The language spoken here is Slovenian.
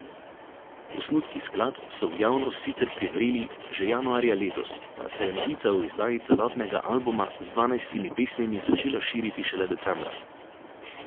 Osnutki skladb so v javnost sicer privreli že januarja letos, a se je novica o izdaji celotnega albuma z dvanajstimi pesmimi začela širiti šele decembra.